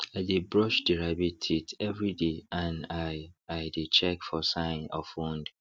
i dey brush the rabbit teeth every day and i i dey check for sign of wound